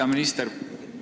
Hea minister!